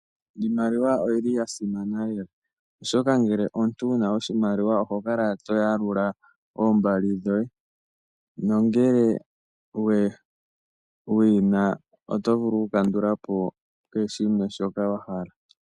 Iimaliwa oyi li yasimana lela, oshoka ngele omuntu wuna oshimaliwa oho kala wuna oshimaliwa oho kala to yalula oombali dhoye, nongele wuyina oto vulu okukandulapo kehe shimwe shoka wahala.